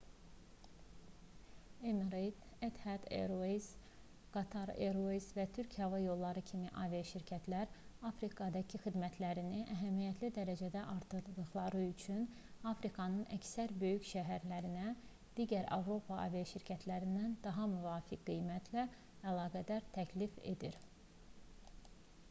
emirates etihad airways qatar airways və türk hava yolları kimi aviaşirkətlər afrikadakı xidmətlərini əhəmiyyətli dərəcədə artırdıqları üçün afrikanın əksər böyük şəhərlərinə digər avropa aviaşirkətlərindən daha müvafiq qiymətə əlaqələr təklif edir